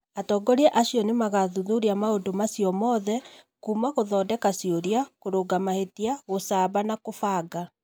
Atongoria acio nĩ makathuthuria maũndu macio mothe kuuma gũthondeka ciũria, kũrũnga mahĩtia, gũcaba na kũbanga.